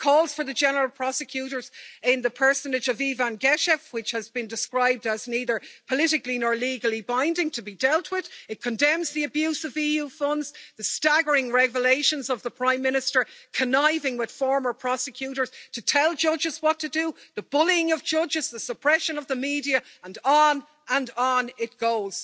It calls for the general prosecutor in the personage of Ivan Geshev, which has been described as neither politically nor legally binding, to be dealt with, it condemns the abuse of EU funds, the staggering revelations of the Prime Minister conniving with former prosecutors to tell judges what to do, the bullying of judges, the suppression of the media, and on and on it goes!